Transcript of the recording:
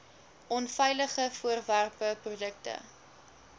onveilige voorwerpe produkte